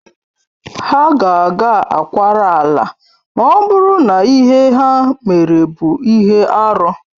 Ha ga-aga akwara ala ma ọ bụrụ na ihe ha mere bụ ihe arụ